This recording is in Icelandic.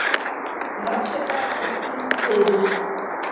Magnað hvað tíminn flýgur?